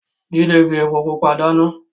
Jide fi epo pupa dana.